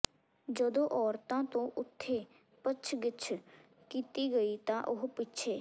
ਜਦੋਂ ਔਰਤਾਂ ਤੋਂ ਉੱਥੇ ਪੁੱਛਗਿੱਛ ਕੀਤੀ ਗਈ ਤਾਂ ਉਹ ਪਿੱਛੇ